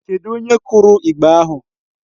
Kedụ onye kụrụ igba ahụ?